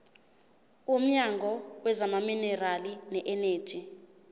womnyango wezamaminerali neeneji